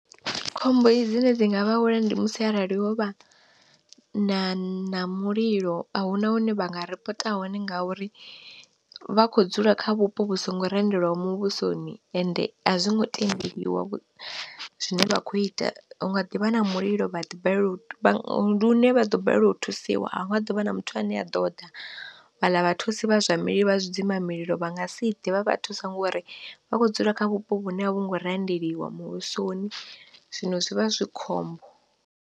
Khombo dzine dzi nga vha wela ndi musi arali ho vha na na mulilo ahuna hune vha nga ripota hone ngauri vha kho dzula kha vhupo vhu songo randelwaho muvhusoni, ende a zwi ngo tendeliwa vhu zwine vha kho ita hu nga ḓi vha na mulilo vha ḓi balelwa vha ndi hune vha ḓo balelwa u thusiwa ahu nga ḓovha na muthu ane a ḓo ḓa vhala vha thusi vha zwa mali vha zwidzimba mililo vha nga si ḓe vha vha thusa ngori vha kho dzula kha vhupo vhune a vhu ngo randelwa muvhusoni, zwino zwi vha zwi khombo.